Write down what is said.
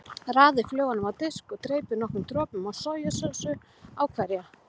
Raðið flögunum á disk og dreypið nokkrum dropum af sojasósu á hverja.